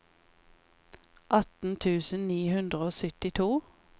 atten tusen ni hundre og syttito